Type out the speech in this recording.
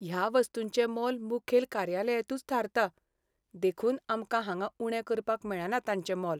ह्या वस्तूंचें मोल मुखेल कार्यालयांतूंच थारता, देखून आमकां हांगां उणें करपाक मेळना तांचें मोल.